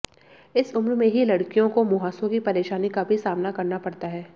इस उम्र में ही लड़कियों को मुंहासों की परेशानी का भी सामना करना पड़ता है